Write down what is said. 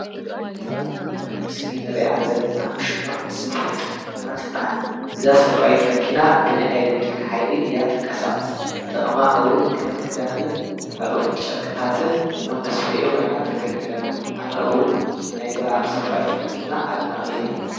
እዛ አብ ምስሊ እንሪኦ ዘለና ሽማ ሰፋይት መኪና ትበሃል። እዛ ሰፋይት መኪና ብናይ ኤሌክትሪክ ሓይሊ እያ ትንቀሳቀስ ጠቅማ እውን ከም ክዳንን ካልኦት ጨርቅታትን ከም መስፈይ ኮይና ተገልግለና አነ እውን ናይዛ ሰፋይት መኪና አድናቂ እየ።